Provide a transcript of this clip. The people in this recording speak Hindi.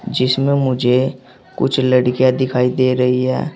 जिसमें मुझे कुछ लड़कियां दिखाई दे रही है।